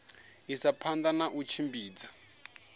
isa phanda na u tshimbidza